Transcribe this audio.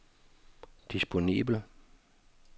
disponibel